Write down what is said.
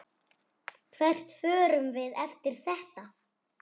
Hvert förum við eftir þetta?